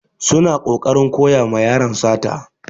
Suna kokarin koya ma yaron sata.